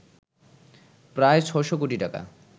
প্রায় ৬শ কোটি টাকা